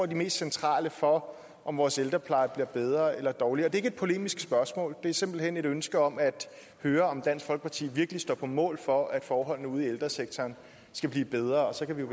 de mest centrale for om vores ældrepleje bliver bedre eller dårligere det er ikke et polemisk spørgsmål det er simpelt hen et ønske om at høre om dansk folkeparti virkelig står på mål for at forholdene ude i ældresektoren skal blive bedre og så kan vi